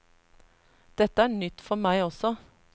Dette er nytt for meg også.